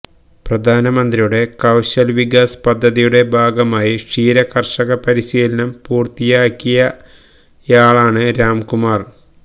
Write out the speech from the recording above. പ്രധാനമന്ത്രിയുടെ കൌശല് വികാസ് പദ്ധതിയുടെ ഭാഗമായി ക്ഷീര കര്ഷക പരിശീലനം പൂര്ത്തിയാക്കിയയാളാണ് രാംകുമാര്